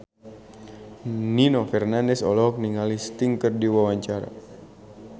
Nino Fernandez olohok ningali Sting keur diwawancara